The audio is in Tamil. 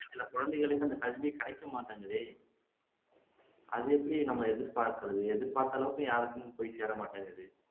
சில குழந்தைகளுக்கு இந்த கல்வியே கிடைக்க மாட்டேங்குதே அதை எப்படி நம்ம எதிர்பாக்கிறது எதிர்பார்த்த அளவுக்கு யாருக்குமே போய் சேரமாட்டேங்குது